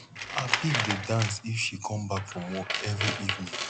her pig dey dance if she come back from work every evening